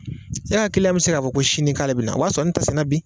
E ka kiliyan bɛ se k'a fɔ ko sini k'ale bɛna na a b'a sɔrɔ ne t sanna bi.